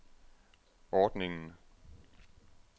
ordningen